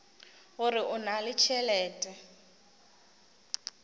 gore o na le tšhelete